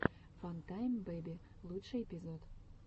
фантайм бэйби лучший эпизод